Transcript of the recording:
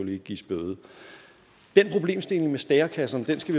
ikke gives bøde den problemstilling med stærekasserne skal